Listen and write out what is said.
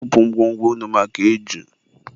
Bupu ngwo ngwo unu maka iju!